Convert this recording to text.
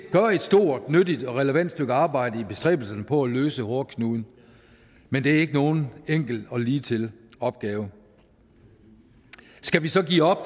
gør et stort nyttigt og relevant stykke arbejde i bestræbelserne på at løse hårdknuden men det er ikke nogen enkel og ligetil opgave skal vi så give op